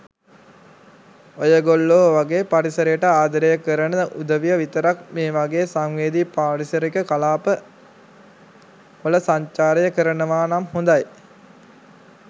ඔයගොල්ලෝ වගේ පරිසරයට ආදරය කරන උදවිය විතරක් මේ වගේ සංවේදී පාරිසරික කලාප වල සංචාරය කරනවා නම් හොඳයි.